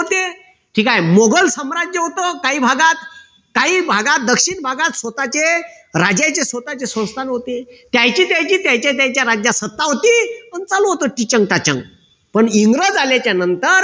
ठीक आहे. मुघल साम्राज्य होत काही भागात काही भागात दक्षिण भागात स्वतःचे राज्याचे स्वतःचे संस्थान होते. त्यांची त्यांची त्यांच्या त्यांच्या राज्यात सत्ता होती, पण चालू होत टिचण टाचण पण इंग्रज आल्याच्या नंतर